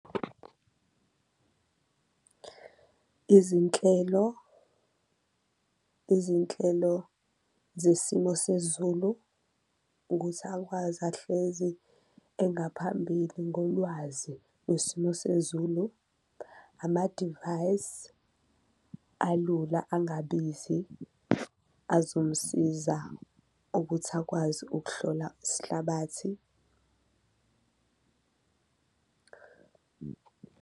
Izinhlelo, izinhlelo zesimo sezulu ukuthi akwazi ahlezi engaphambili ngolwazi lwesimo sezulu, amadivayisi alula angabizi azomsiza ukuthi akwazi ukuhlola isihlabathi.